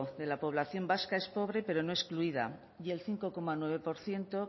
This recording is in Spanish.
de la población vasca es pobre pero no excluida y el cinco coma nueve por ciento